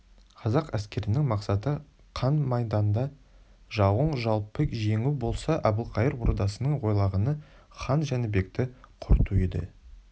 қазақ әскерінің мақсаты қан майданда жауын жалпы жеңу болса әбілқайыр ордасының ойлағаны хан жәнібекті құрту еді